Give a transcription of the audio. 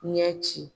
Ɲɛ ci